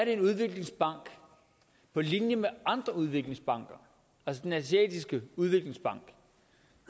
en udviklingsbank på linje med andre udviklingsbanker altså den asiatiske udviklingsbank